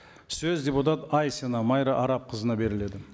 сөз депутат айсина майра арапқызына беріледі